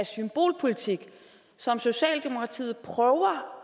er symbolpolitik som socialdemokratiet prøver